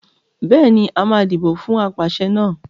Bẹ́ẹ̀ ni, a máa dìbò fún apàṣẹ náà.